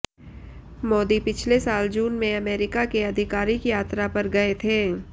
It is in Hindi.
मोदी पिछले साल जून में अमेरिका के आधिकारिक यात्रा पर गये थे